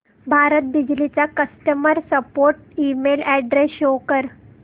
भारत बिजली चा customer support email address show कर